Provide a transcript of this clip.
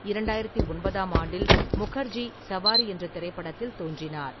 இரண்டாயிரத்து ஒன்பதாம் ஆண்டில், முகர்ஜி சவாரி என்ற திரைப்படத்தில் தோன்றினார்.